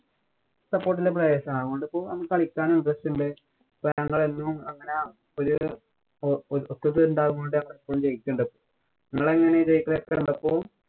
support ഉള്ളപ്പോഴേ അതുകൊണ്ട് കളിക്കാനും interest ഉണ്ട്. ഇപ്പൊ ഞങ്ങളെല്ലാരും ഒരു ഒത്ത ഉണ്ടാകുന്നോണ്ട് ജയിക്കണ്ട്. നിങ്ങളെങ്ങനെയാ ഇപ്പൊ?